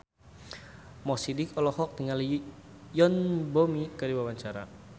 Mo Sidik olohok ningali Yoon Bomi keur diwawancara